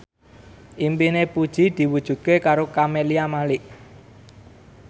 impine Puji diwujudke karo Camelia Malik